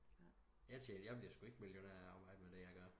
Jeg tjener jeg bliver sku ikke millionær af at arbejde med det jeg gør